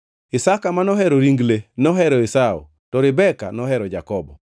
Isaka ma nohero ring le nohero Esau to Rebeka nohero Jakobo.